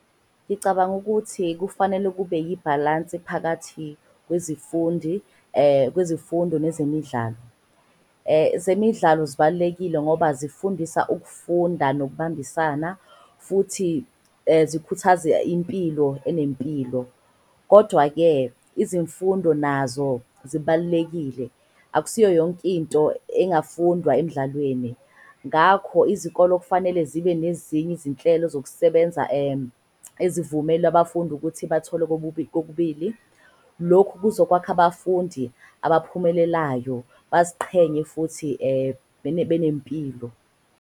Ngicabanga ukuthi kufanele kube yibhalansi phakathi kwezifundo nezemidlalo. Zemidlalo zibalulekile ngoba zifundisa ukufunda nokubambisana futhi zikhuthaze impilo enempilo. Kodwa-ke izimfundo nazo zibalulekile akusiyo yonkinto ezingafundwa emidlalweni. Ngakho, izikolo kufanele zibe nezinye izinhlelo zokusebenza ezivumela abafundi ukuthi bathole kokubili. Lokhu kuzokwakha abafundi abaphumelelayo, baziqhenye futhi benempilo.